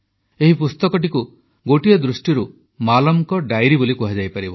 ଏହି ପୁସ୍ତକଟିକୁ ଗୋଟିଏ ଦୃଷ୍ଟିରୁ ମାଲମଙ୍କ ଡାଇରୀ ବୋଲି କୁହାଯାଇପାରିବ